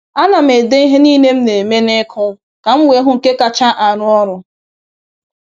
A na m ede ihe niile m na-eme n’ịkụ ka m wee hụ nke kacha arụ ọrụ.